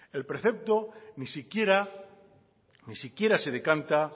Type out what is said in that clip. el precepto ni siquiera ni siquiera se decanta